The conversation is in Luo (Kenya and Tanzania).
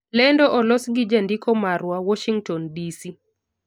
Lendo olos gi jandiko marwa, Warshington, DC